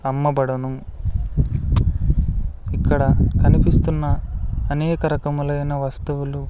అమ్మబడును ఇక్కడ కనిపిస్తున్న అనేక రకములైన వస్తువులు--